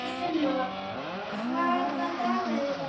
Þorfinna, hvaða dagur er í dag?